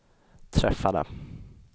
träffade